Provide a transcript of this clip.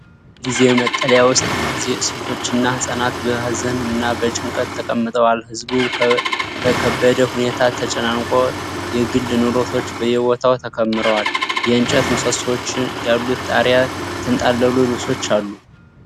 በጊዜያዊ መጠለያ ውስጥ ብዙ ሴቶችና ሕፃናት በሀዘን እና በጭንቀት ተቀምጠዋል። ሕዝቡ በከበደ ሁኔታ ተጨናንቆ፣ የግል ንብረቶች በየቦታው ተከምረዋል። የእንጨት ምሰሶዎች ያሉት ጣሪያና የተንጠለጠሉ ልብሶች አሉ።